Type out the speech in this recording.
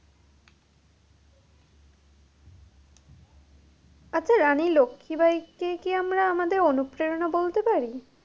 আচ্ছা রানী লক্ষি বাইকে কি আমরা আমাদের অনুপ্রেরণা বলতে পারি?